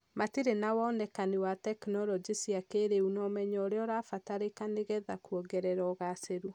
matirĩ na wonekani wa tekinoronjĩ cia kĩrĩu na ũmenyo ũrĩa ũrabataranĩka nĩ getha kuongerera ũgacĩru.